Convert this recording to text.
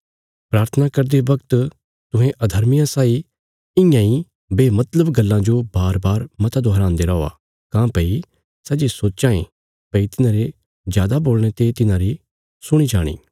प्राथना करदे बगत तुहें अधर्मियां साई इयां इ बेमतलब गल्लां जो बारबार मत दोहरान्दे रौआ काँह्भई सै ये सोच्चां ये भई तिन्हारे जादा बोलणे ते तिन्हारी सुणी जाणी